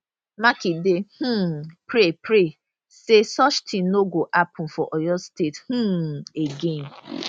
makinde um pray pray say such tin no go happun for oyo state um again